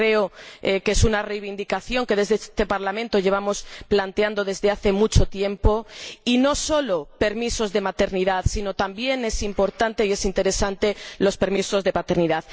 Creo que es una reivindicación que, desde este Parlamento, llevamos planteando desde hace mucho tiempo, y no solo se trata de permisos de maternidad, sino que también son importantes e interesantes los permisos de paternidad.